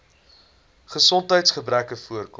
gesondheids gebreke oorkom